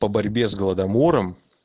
по борьбе с голодомором